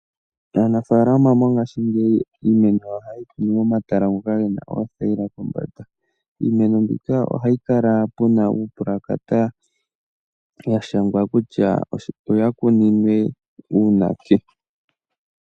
Aanafaalama mongashingeyi iimeno yawo ohaye yi kunu momahala ngoka ge na oothayila kombanda. Iimeno mbika ohapu kala pu na uupulakata wa shangwa kutya oya kuninwe uunake.